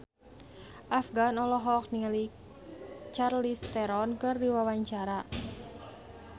Afgan olohok ningali Charlize Theron keur diwawancara